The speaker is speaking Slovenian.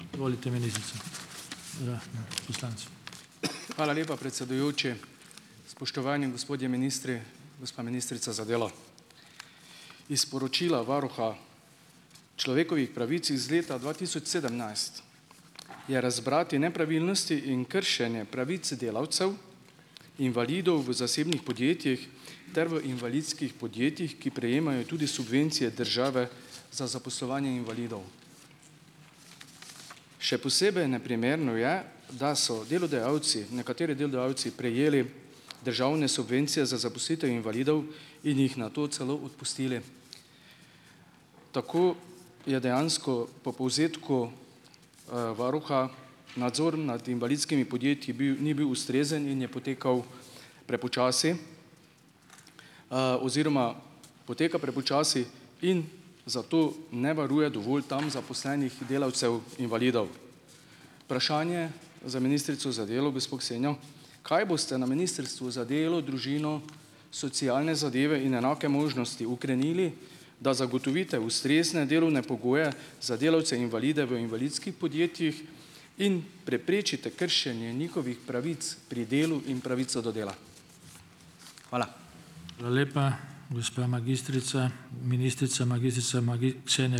Hvala lepa, predsedujoči. Spoštovani gospodje ministri, gospa ministrica za delo. Iz sporočila varuha človekovih pravic iz leta dva tisoč sedemnajst je razbrati nepravilnosti in kršenje pravic delavcev invalidov v zasebnih podjetjih ter v invalidskih podjetjih, ki prejemajo tudi subvencije države za zaposlovanje invalidov. Še posebej neprimerno je, da so delodajalci, nekateri delodajalci prejeli državne subvencije za zaposlitev invalidov in jih nato celo odpustili. Tako je dejansko po povzetku varuha nadzor nad invalidskimi podjetji bil ni bil ustrezen in je potekal prepočasi oziroma poteka prepočasi in zato ne varuje dovolj tam zaposlenih delavcev invalidov. Vprašanje za ministrico za delo, gospo Ksenijo, kaj boste na Ministrstvu za delo, družino, socialne zadeve in enake možnosti ukrenili, da zagotovite ustrezne delovne pogoje za delavce invalide v invalidskih podjetjih in preprečite kršenje njihovih pravic pri delu in pravico do dela. Hvala.